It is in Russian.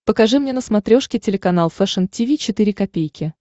покажи мне на смотрешке телеканал фэшн ти ви четыре ка